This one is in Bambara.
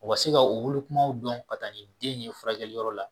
U ka se ka u wolokumaw dɔn ka taa ni den ye furakɛliyɔrɔ la